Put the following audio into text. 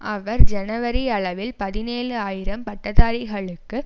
அவர் ஜனவரி அளவில் பதினேழு ஆயிரம் பட்டதாரிகளுக்கு